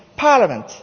Parliament.